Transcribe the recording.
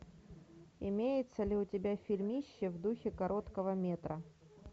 имеется ли у тебя фильмище в духе короткого метра